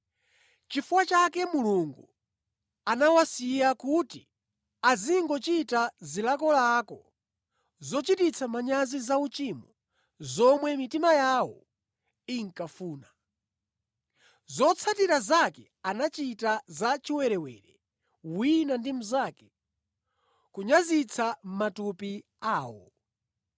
Nʼchifukwa chake Mulungu anawasiya kuti azingochita zilakolako zochititsa manyazi zauchimo zomwe mitima yawo inkafuna. Zotsatira zake anachita za chiwerewere wina ndi mnzake kunyazitsa matupi awo.